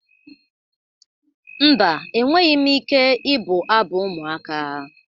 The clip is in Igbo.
Mba, enweghị m ike ịbụ abụ ụmụaka